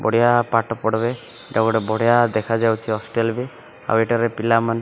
ବଢ଼ିଆ ପାଠ ପଢ଼ବେ ଏଇଟା ଗୋଟେ ବଢ଼ିଆ ଦେଖା ଯାଉଛି ହଷ୍ଟେଲ ରେ ଆଉ ଏଠାରେ ପିଲାମାନେ --